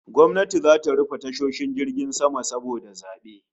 Gwamnati zata rufe tashoshin jiragen sama saboda zabe